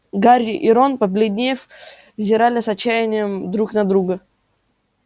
гарри и рон побледнев взирали с отчаянием друг на друга